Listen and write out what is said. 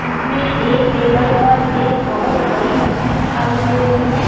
इसमें एक टेबल पर एक बहोत बड़ी मछली दिखाई दे रही है।